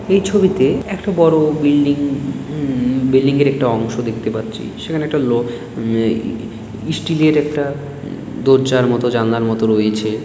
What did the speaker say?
এই ছবিতে একটা বড় বিল্ডিং উম বিল্ডিং য়ের একটা অংশ দেখতে পাচ্ছি সেখানে একটা লোক ওম ওম স্টিল - এর একটা দরজার মত জানলার মত রয়েছে |